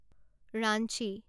Ranchi